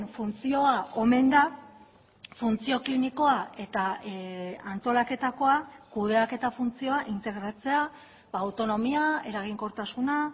funtzioa omen da funtzio klinikoa eta antolaketakoa kudeaketa funtzioa integratzea autonomia eraginkortasuna